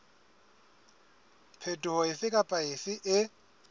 phetoho efe kapa efe e